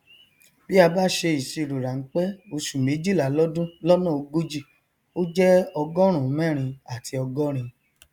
bí a bá ṣe ìṣirò ránpẹ oṣù méjìlá lọdún lọnà ogójì ó jẹ ọgọrùún mẹrin àti ọgọrin